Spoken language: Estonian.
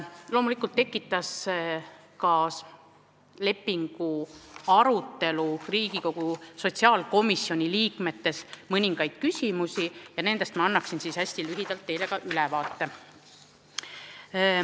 Loomulikult tekitas lepingu arutelu Riigikogu sotsiaalkomisjoni liikmetes mõningaid küsimusi ja nendest ma annan hästi lühidalt teile ülevaate.